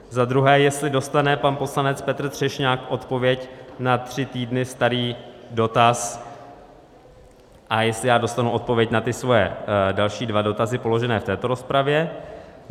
Za druhé, jestli dostane pan poslanec Petr Třešňák odpověď na tři týdny starý dotaz a jestli já dostanu odpověď na ty své další dva dotazy položené v této rozpravě.